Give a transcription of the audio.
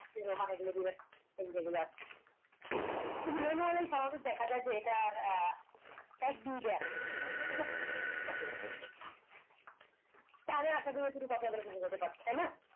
মানে গুলো দিবেন এন এইগুলা মনে হয় না স্বাভাবি দেখা যায় যে এটার আহ এক দুই টা ঠিক আছে তাইলে আশা করি আপনাদের কে বুঝাতে পারছি তাই না